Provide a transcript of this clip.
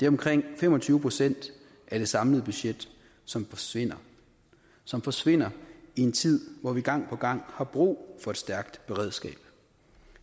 omkring fem og tyve procent af det samlede budget som forsvinder som forsvinder i en tid hvor vi gang på gang har brug for et stærkt redskab